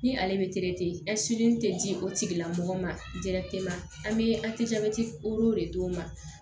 Ni ale bɛ tɛ di o tigilamɔgɔ ma an bɛ de d'u ma